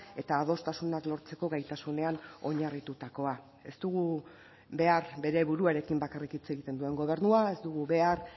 eta adostasunak lortzeko gaitasunean oinarritutakoa ez dugu behar bere buruarekin bakarrik hitz egiten duen gobernua ez dugu behar